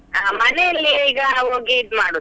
ಮನೆಯಲ್ಲಿ ಈಗ ಹೋಗಿ ಇದು ಮಾಡುದು.